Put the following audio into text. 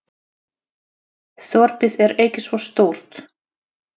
Þorpið er ekki svo stórt.